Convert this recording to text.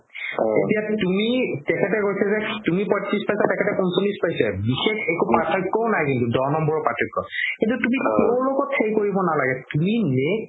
এতিয়া তুমি তেখেতে কৈছে যে তুমি পঁইত্ৰিশ পাইছা তেখেতে পঞ্চল্লিছ পাইছে বিষেশ একো পাৰ্থক্যও নাই কিন্তু দহ নম্বৰৰ পাৰ্থক্য তুমি কৰো লগত সেই কৰিব নালাগে তুমি